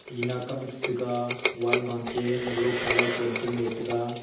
tina che tega wall bake yellow colour painting le tega.